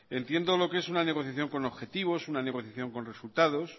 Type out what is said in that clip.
entiendo lo que es una negociación con objetivos una negociación con resultados